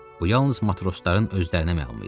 Bu yalnız matrosların özlərinə məlum idi.